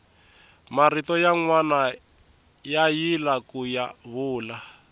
marito yanwani ya yila kuya vula